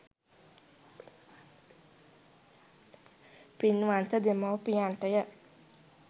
පින්වන්ත දෙමාපියන්ට ය.